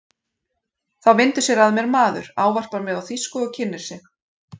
Þá vindur sér að mér maður, ávarpar mig á þýsku og kynnir sig.